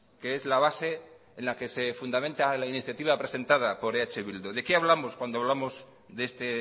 que es la base en la que se fundamenta la iniciativa presentada por eh bildu de qué hablamos cuando hablamos de este